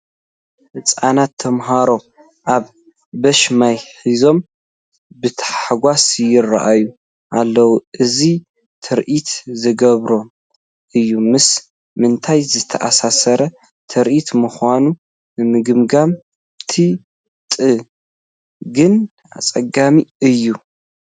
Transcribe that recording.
ህፃናት ተመሃሮ ኣብ ቡሽ ማይ ሒዞም ብተሓጓስ ይርአዩ ኣለዉ፡፡ እዚ ትርኢት ዘግርም እዩ፡፡ ምስ ምንታይ ዝተኣሳሰረ ትርኢት ምዃኑ ንምግማት ጥ ግን ኣፀጋሚ እዩ፡፡